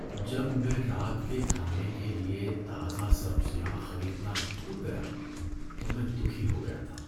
جب میں رات کے کھانے کے لیے تازہ سبزیاں خریدنا بھول گیا تو میں دکھی ہو گیا تھا۔